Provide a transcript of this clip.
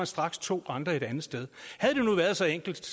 straks to andre et andet sted havde det nu været så enkelt